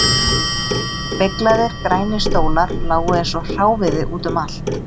Beyglaðir grænir stólar lágu eins og hráviði út um allt